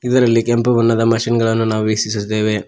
ಇದರಲ್ಲಿ ಕೆಂಪು ಬಣ್ಣದ ಮಷೀನ್ ಗಳನ್ನು ನಾವು ವೀಕ್ಷಿಸುತ್ತೇವೆ.